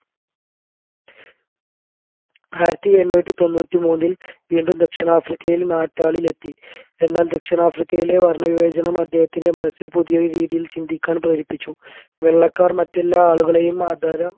ആയിരത്തി എണ്ണൂറ്റി തൊണ്ണൂറ്റി മൂന്നിൽ വീണും ദക്ഷിണാഫ്രിക്കയിൽ നാറ്റാളിൽ എത്തി എന്നാൽ ദക്ഷിണാഫ്രിക്കയിലെ വർണവിവേചനം അദ്ദേഹത്തിൻെറ മനസ്സിൽ പുതിയൊരു രീതിയിൽ ചിന്ടിക്കാൻ പ്രേരിപ്പിച്ചു വെള്ളക്കാർ മറ്റെല്ലാ ആളുകളെയും